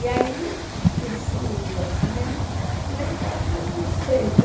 E aí, isso e o cinema, lá em casa eu não sei.